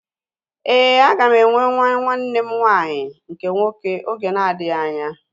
Éè, aga m enwe nwa nwanne m nwanyị nke nwoke oge na-adịghị anya